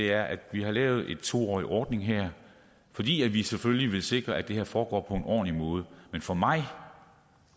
er at vi har lavet en to årig ordning her fordi vi selvfølgelig vil sikre at det her foregår på en ordentlig måde men for mig